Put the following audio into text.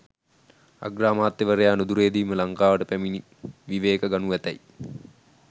අග්‍රාමාත්‍යවරයා නුදුරේදීම ලංකාවට පැමණි විවේක ගනු ඇතැයි